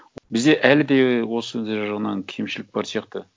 бізде әлі де осындай жағынан кемшілік бар сияқты